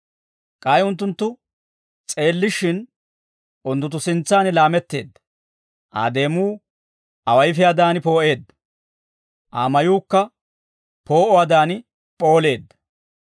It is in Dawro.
K'ay unttunttu s'eellishshin, unttunttu sintsaan laametteedda; Aa deemuu awayfiyaadaan poo'eedda; Aa mayuukka poo'uwaadan p'ooleedda.